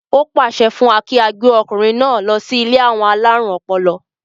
ó pàṣẹ fún wa kí á gbé ọkùnrin náà lọ sí ilé àwọn alárùn ọpọlọ